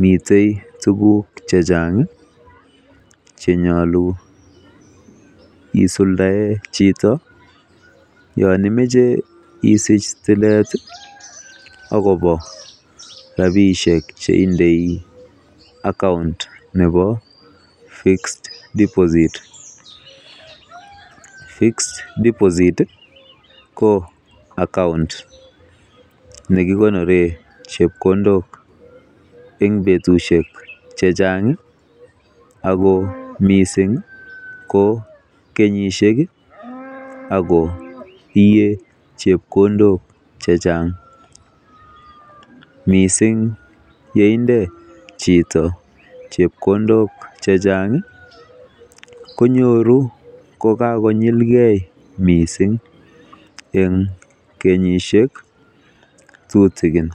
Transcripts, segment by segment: Miten tuugk che chang ch enyolu isuldaen chito yon imoche itil tilet agobo rabishek che indei account nebo fixed deposit. Fixed deposit ko account nekikonoren chepkondoken betushek che chang ago mising ko kenyisiek ago iyei chepkondok che chang mising ye inde chito chepkondok che chang konyoru kogakonyilge misng en kenyisiek tutikin.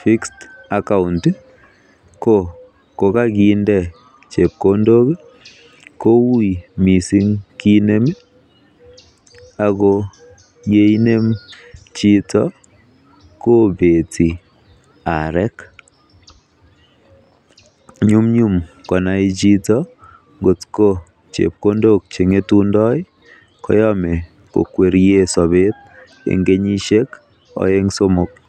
Fixed account ko kogakinde chepkondok kuiy mising kide ago ye inem chito kobeti arek. Nyumnyum konai chito kotko chekondok che ng'etundo koyome kokwerie sobet en kenyisiek oeng somok.